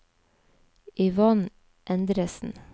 Yvonne Endresen